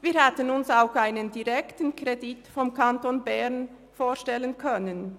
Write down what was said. Wir hätten uns auch einen direkten Kredit des Kantons Bern vorstellen können.